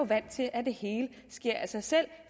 vant til at det hele sker af sig selv